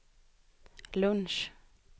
lunch